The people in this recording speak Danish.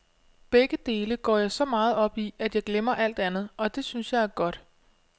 Begge dele går jeg så meget op i, at jeg glemmer alt andet, og det synes jeg er godt.